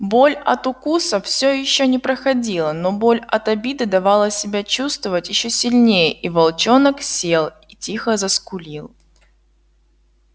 боль от укуса всё ещё не проходила но боль от обиды давала себя чувствовать ещё сильнее и волчонок сел и тихо заскулил